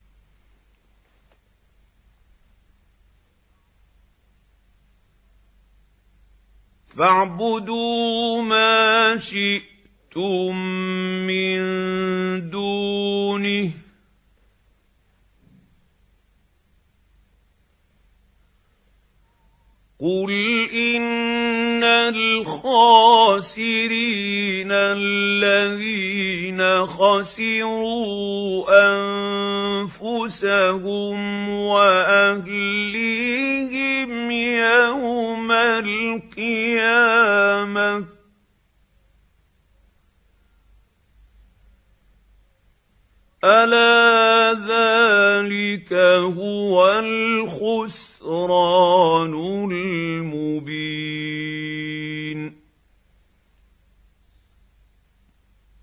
فَاعْبُدُوا مَا شِئْتُم مِّن دُونِهِ ۗ قُلْ إِنَّ الْخَاسِرِينَ الَّذِينَ خَسِرُوا أَنفُسَهُمْ وَأَهْلِيهِمْ يَوْمَ الْقِيَامَةِ ۗ أَلَا ذَٰلِكَ هُوَ الْخُسْرَانُ الْمُبِينُ